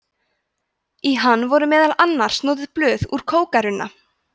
í hann voru meðal annars notuð blöð úr kókarunna